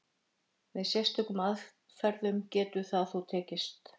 Með sérstökum aðferðum getur það þó tekist.